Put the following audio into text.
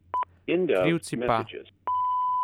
Krivci pa ...